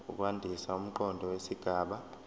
ukwandisa umqondo wesigaba